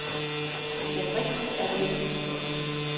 Men den rigtige er der heldigvis også.